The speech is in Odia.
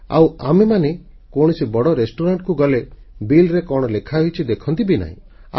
ଆଉ ଆମେମାନେ ହିଁ କୌଣସି ବଡ଼ ରେସ୍ତୁରାଂ Restaurantକୁ ଗଲେ ବିଲ୍ ରେ କଣ ଲେଖା ହୋଇଛି ଦେଖନ୍ତି ବି ନାହିଁ